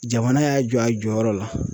Jamana y'a jɔ a jɔyɔrɔ la.